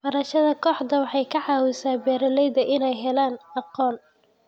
Barashada kooxdu waxay ka caawisaa beeralayda inay helaan aqoon.